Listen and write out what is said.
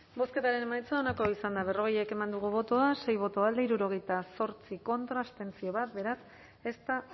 bozketaren emaitza onako izan da berrogei eman dugu bozka sei boto alde hirurogeita zortzi contra bat abstentzio beraz ez da